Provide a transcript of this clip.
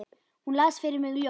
Hún las fyrir mig ljóð.